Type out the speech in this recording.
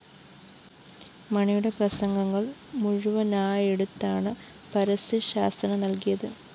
മണിയുടെ പ്രസംഗങ്ങള്‍ മുഴുവനായെടുത്താണ് പരസ്യശാസന നല്‍കിയത്